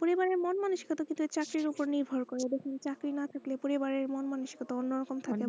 পরিবারের মন মনোস্ক তো চাকরির উপর নির্ভর করে চাকরি না থাকলে পরিবারের মন মানিস্কটা অন্য রকম থাকে